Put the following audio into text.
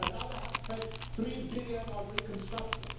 another has spent EUR3 billion on reconstruction